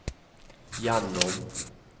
gjennom